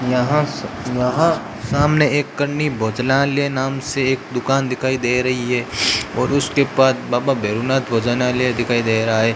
यहां से यहां सामने एक कन्नी भोजनालय नाम से एक दुकान दिखाई दे रही है और उसके बाद बाबा भैरुनाथ भोजनालय दिखाई दे रहा है।